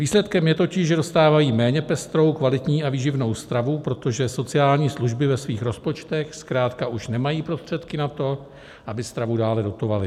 Výsledkem je totiž, že dostávají méně pestrou, kvalitní a výživnou stravu, protože sociální služby ve svých rozpočtech zkrátka už nemají prostředky na to, aby stravu dále dotovaly.